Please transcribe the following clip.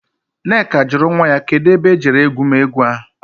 Nneka juru nwa ya. Kedu ebe e jere egwumegwu ahu?